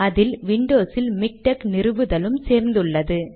அதில் விண்டோஸ் இல் மிக்டெக் நிறுவுதலும் சேர்த்துள்ளது